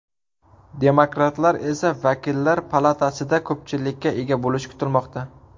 Demokratlar esa vakillar palatasida ko‘pchilikka ega bo‘lishi kutilmoqda.